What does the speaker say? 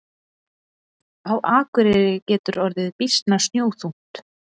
Á Akureyri getur orðið býsna snjóþungt.